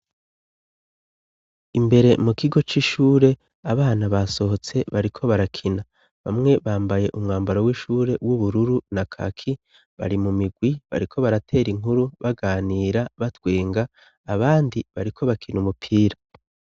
Imbere mu kigo c'ishure abana basohotse bariko barakina. Bamwe bambaye umwambaro w'ishure w'ubururu na kaki. Bari mu mirwi bariko baratera inkuru baganira batwenga abandi bariko bakina umupira.